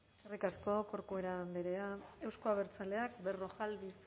eskerrik asko corcuera andrea euzko abertzaleak berrojalbiz